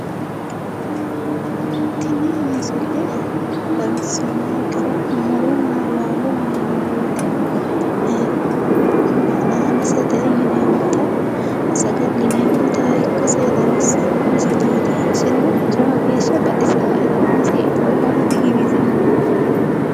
Tini misile xawissannonkeri muronna laalo yineemmo woyite hanaanisete yineemmota saga'lineemmota ikkase xawissanno misileeti. Iseno jawa geeshsha baxisaae xa umosi itoommaro digiwisiwoe.